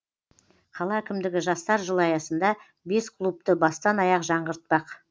қала әкімдігі жастар жылы аясында бес клубты бастан аяқ жаңғыртпақ